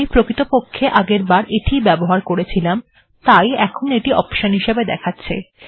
প্রকৃতপক্ষে আমি আগেরবার এটি ই ব্যবহার করেছিলাম তাই এখন এটি অপশন হিসাবে দেখা যাচ্ছে